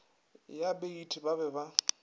ya baeti ba be ba